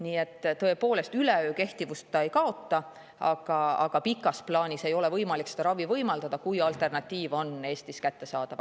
Nii et tõepoolest, üleöö see kehtivust ei kaota, aga pikas plaanis ei ole võimalik seda ravi võimaldada, kui alternatiiv on Eestis kättesaadav.